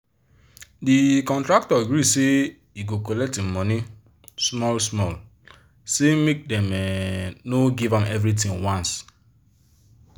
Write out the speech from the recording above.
the contractor gree say he go collect him money small small say make dem um no give am everythin once